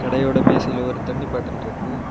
கடையோட மேசையில ஒரு தண்ணி பாட்டில் இருக்கு.